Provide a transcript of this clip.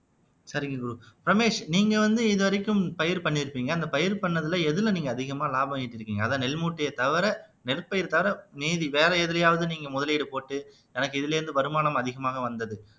சரிங்க குரு, ரமேஷ் நீங்க வந்து இதுவரைக்கும் பயிர் பண்ணிருப்பீங்க அந்த பயிர் பண்ணதுல எதுல நீங்க அதிகமா லாபம் ஈட்டிருக்கீங்க அதான் நெல் மூட்டைய தவிர நெற்பயிர் தவிர மீதி வேற எதுலயாவது நீங்க முதலீடு போட்டு எனக்கு இதுல இருந்து வருமானம் அதிகமாக வந்தது